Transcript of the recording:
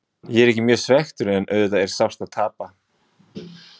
Ég er ekki mjög svekktur en auðvitað er sárt að tapa.